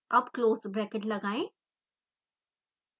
अब close bracket लगाएं